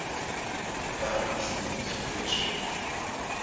вам и не снилось включи